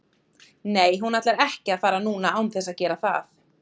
Nei hún ætlar ekki að fara núna án þess að gera það.